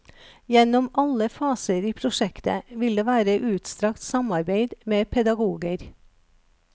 Gjennom alle faser i prosjektet vil det være utstrakt samarbeid med pedagoger.